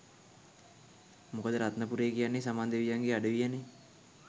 මොකද රත්නපුරේ කියන්නේ සමන් දෙවියන්ගේ අඩවිය නේ.